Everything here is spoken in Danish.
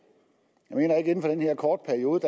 jeg den her korte periode